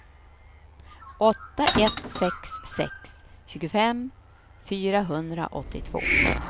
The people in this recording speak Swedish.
åtta ett sex sex tjugofem fyrahundraåttiotvå